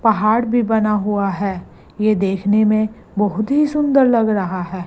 पहाड़ भी बना हुआ है ये देखने में बहोत ही सुंदर लग रहा है।